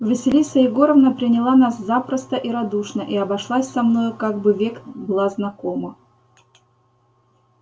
василиса егоровна приняла нас запросто и радушно и обошлась со мною как бы век была знакома